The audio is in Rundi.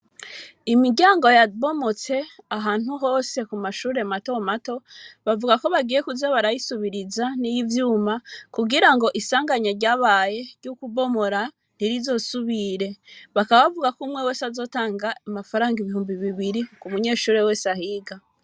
Imiryango yabomotse ahantu hose ku mashure mato mato bavuga ko bagiye kuza barayisubiriza n'ivyuma kugira ngo isanganya ryabaye ryo kubomora ntirizosubire bakaba bavuga ku umwe wese azotanga amafaranga ibihumbi bibiri ku munyeshuri wese ahiga.